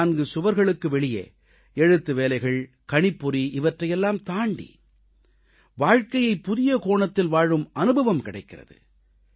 நான்கு சுவர்களுக்கு வெளியே எழுத்துவேலைகள் கணிப்பொறியைத் தாண்டி வாழ்க்கையை புதிய கோணத்தில் வாழும் அனுபவம் கிடைக்கிறது